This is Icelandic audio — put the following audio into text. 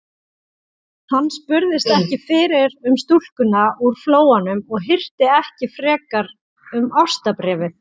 Hann spurðist ekki fyrir um stúlkuna úr Flóanum og hirti ekki frekar um ástarbréfið.